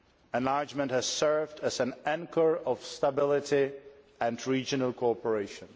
Enlargement has served as an anchor of stability and regional cooperation.